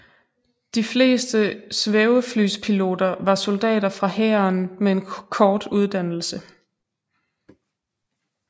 De fleste svæveflyspiloter var soldater fra hæren med en kort uddannelse